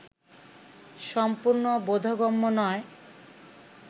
সম্পূর্ণ বোধগম্য নয়